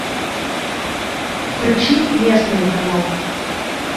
включи местный канал